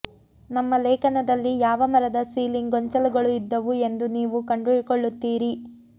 ನಮ್ಮ ಲೇಖನದಲ್ಲಿ ಯಾವ ಮರದ ಸೀಲಿಂಗ್ ಗೊಂಚಲುಗಳು ಇದ್ದವು ಎಂದು ನೀವು ಕಂಡುಕೊಳ್ಳುತ್ತೀರಿ